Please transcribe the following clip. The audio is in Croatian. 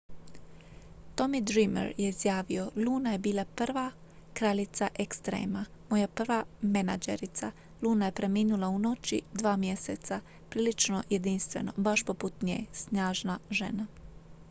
"tommy dreamer je izjavio: "luna je bila prva kraljica ekstrema. moja prva menadžerica. luna je preminula u noći dva mjeseca. prilično jedinstveno baš poput nje. snažna žena.""